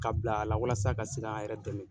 Ka bila a la walasa a ka se ka a yɛrɛ dɛmɛ.